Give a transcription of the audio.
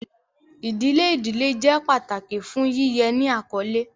Idile idile jẹ pataki fun yiyẹ ni akọle.